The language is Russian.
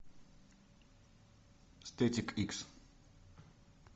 стетик икс